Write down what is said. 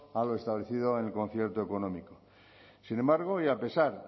a lo establecido en el concierto económico sin embargo y a pesar